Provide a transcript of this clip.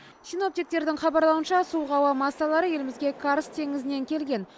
синоптиктердің хабарлауынша суық ауа массалары елімізге карск теңізінен келген